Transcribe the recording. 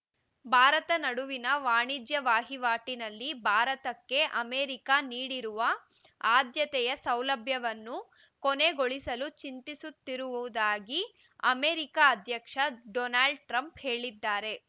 ಭಾರತ ನಡುವಿನ ವಾಣಿಜ್ಯ ವಹಿವಾಟಿನಲ್ಲಿ ಭಾರತಕ್ಕೆ ಅಮೆರಿಕ ನೀಡಿರುವ ಆದ್ಯತೆಯ ಸೌಲಭ್ಯವನ್ನು ಕೊನೆಗೊಳಿಸಲು ಚಿಂತಿಸುತ್ತಿರುವುದಾಗಿ ಅಮೆರಿಕ ಅಧ್ಯಕ್ಷ ಡೊನಾಲ್ಡ್ ಟ್ರಂಪ್ ಹೇಳಿದ್ದಾರೆ